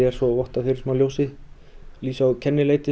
svo votta fyrir ljósi og kennileiti